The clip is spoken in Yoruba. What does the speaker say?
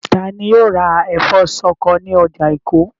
Ta ni yóò ra ẹ̀fọ́ ṣọkọ ní ọjà Èkó?